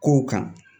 Kow kan